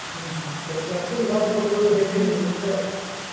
হম তা taxi ভাড়াটা কত করে বেশি নাকি ওখানকার